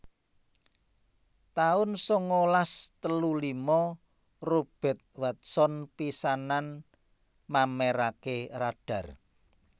taun sangalas telu lima Robert Watson pisanan mamèraké Radar